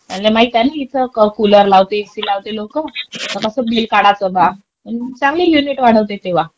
त्यांना माहिती ना का इथं कुलर लावते, एसी लावते लोक. मग कसं बिल वाढायचं बा. चांगले युनिट वाढवते तेव्हा.